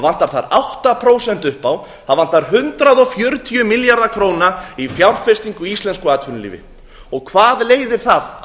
vantar þar átta prósent upp á það vantar hundrað fjörutíu milljarða króna í fjárfestingu í íslensku atvinnulífi hvað leiðir það